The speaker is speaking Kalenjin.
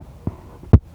Bomit Mogadishu